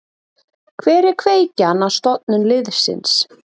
Hver er kveikjan að stofnun liðsins?